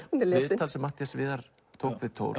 viðtal sem Matthías Viðar tók við Thor